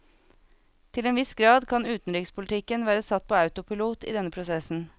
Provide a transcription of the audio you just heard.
Til en viss grad kan utenrikspolitikken være satt på autopilot i denne prosessen.